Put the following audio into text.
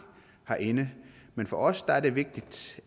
herinde men for os er det vigtigt